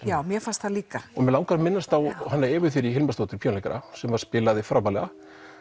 já mér fannst það líka og mér langar að minnast á Evu Hilmarsdóttir píanóleikara sem spilaði frábærlega